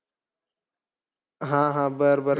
हा, हा. बरं, बरं.